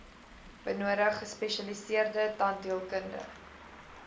benodig gespesialiseerde tandheelkunde